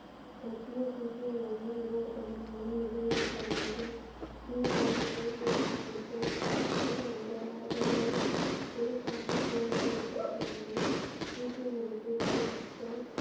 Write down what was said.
மத்திய சீக்கிய மொழிகள் நிறுவப்பட்டது மூலம் நிதியில் பரவியது குருசாகிபை பார்த்த இந்த வருவாய் குருசாகிப்பை பார்த்து சீக்கிய மதத்தை போதித்த.